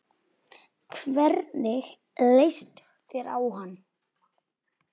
Land birtist fyrir neðan þá.